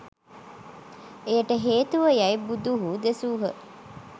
එයට හේතුව යැයි බුදුහු දෙසූහ.